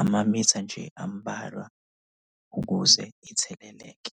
amamitha nje ambalwa ukuze itheleleke.